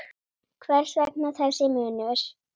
Hvers vegna þessi munur?